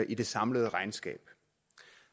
i det samlede regnskab